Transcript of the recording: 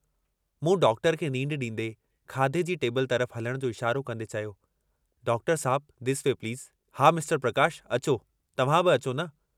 मूं डॉक्टर खे नींढ डींदे खाधे जी टेबिल तरफ़ हलण जो इशारो कन्दे चयो डॉक्टर साहिब दिस वे प्लीज़ हा मिस्टर प्रकाश अचो तव्हां बि अचो न।